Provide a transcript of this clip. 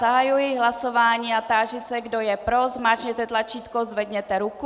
Zahajuji hlasování a táži se, kdo je pro, zmáčkněte tlačítko, zvedněte ruku.